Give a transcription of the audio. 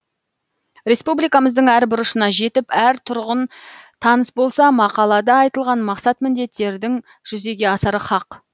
республикамыздың әр бұрышына жетіп әр тұрғын таныс болса мақалада айтылған мақсат міндеттердің жүзеге асары хақ